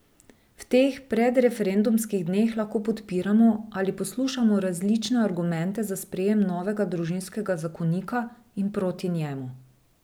V teh predreferendumskih dneh lahko prebiramo ali poslušamo različne argumente za sprejem novega družinskega zakonika in proti njemu.